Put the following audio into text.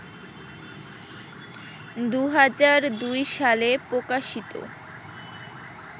২০০২ সালে প্রকাশিত